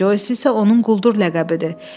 Ben Joyce isə onun quldur ləqəbidir.